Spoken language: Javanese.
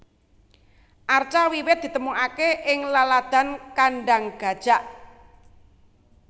Arca wiwit ditemokaké ing laladan Kandang Gajak